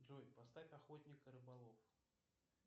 джой поставь охотник и рыболов